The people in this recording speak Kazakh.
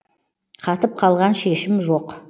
қатып қалған шешім жоқ